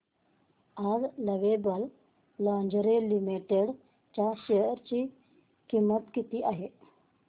आज lovable lingerie limited च्या share ची किंमत किती आहे